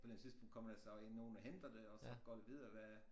På et eller andet tidspunkt kommer der så øh nogen og henter det og så går det videre hvad